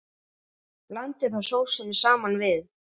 Blandið þá sósunni saman við.